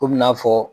Komi n'a fɔ